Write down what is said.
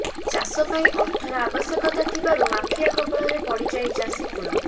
ଚାଷପାଇଁ ଅର୍ଥର ଆବଶ୍ୟକତା ଥିବାରୁ ମାଫିଆ କବଳରେ ପଡ଼ିଯାଏ ଚାଷୀକୂଳ